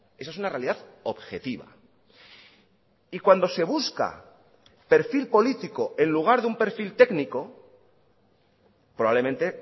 eso es una realidad objetiva y cuando se busca perfil político en lugar de un perfil técnico probablemente